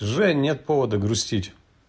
жень нет повода грустить